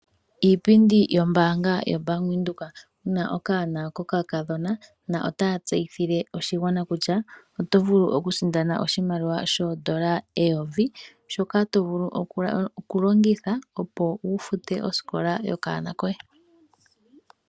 Iipindi yombaanga yaBank Windhoek muna okanona kokakadhona. Na otaya tseyithile oshigwana kutya oto vulu okusindana oshimaliwa shoondola eyovi, shoka to vulu okulongitha opo wu fute osikola yokanona koye.